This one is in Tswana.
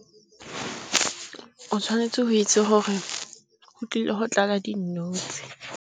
O tshwanetse go itse gore go tlile go tlala dinotshe.